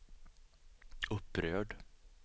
upprörd